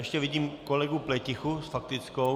Ještě vidím kolegu Pletichu s faktickou?